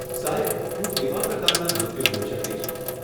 સાહેબ, હું કેવા પ્રકારના નૃત્યો જોઈ શકીશ?